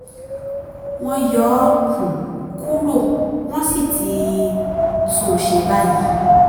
wọ́n yọ ọ́ um kúrò wọ́n sì ti tún un ṣe báyìí